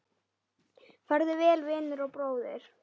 Farðu vel, vinur og bróðir!